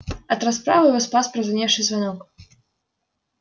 от расправы его спас прозвеневший звонок